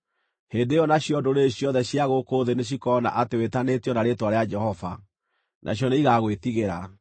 Hĩndĩ ĩyo nacio ndũrĩrĩ ciothe cia gũkũ thĩ nĩcikoona atĩ wĩtanĩtio na rĩĩtwa rĩa Jehova, nacio nĩigagwĩtigĩra.